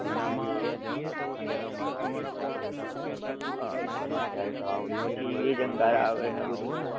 હમ હમ હા, પછી એજ અંદર આવે ને એવું બધું